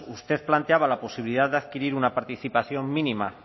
usted planteaba la posibilidad de adquirir una participación mínima